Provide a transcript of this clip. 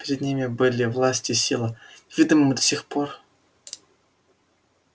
перед ним были власть и сила неведомые ему до сих ггор